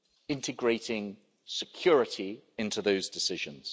integrating security into those decisions.